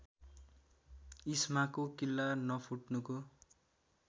इस्माको किल्ला नफुट्नुको